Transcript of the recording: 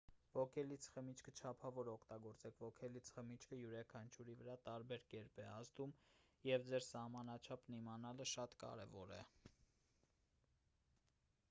ոգելից խմիչքը չափավոր օգտագործեք ոգելից խմիչքը յուրաքանչյուրի վրա տարբեր կերպ է ազդում և ձեր սահմանաչափն իմանալը շատ կարևոր է